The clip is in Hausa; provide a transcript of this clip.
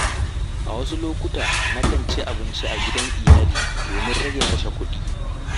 A wasu lokuta na kan cin abinci a gidan iyali domin rage kashe kuɗi.